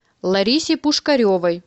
ларисе пушкаревой